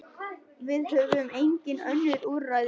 Við höfum engin önnur úrræði.